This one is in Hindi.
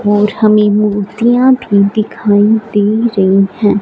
और हमें मूर्तियां भी दिखाई दे रही हैं।